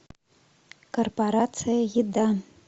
корпорация еда